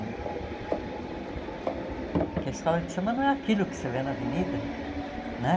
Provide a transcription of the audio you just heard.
Porque a escola de samba não é aquilo que você vê na avenida, né?